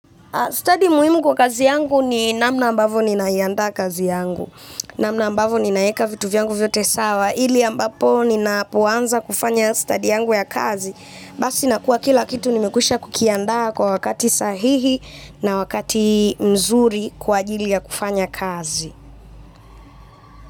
Stadi muhimu kwa kazi yangu ni namna ambavyo ninaiandaa kazi yangu. Namna ambavo ninaeka vitu vyangu vyote sawa, ili ambapo ninapoanza kufanya stadi yangu ya kazi, basi nakuwa kila kitu nimekwisha kukiandaa kwa wakati sahihi na wakati mzuri kwa ajili ya kufanya kazi.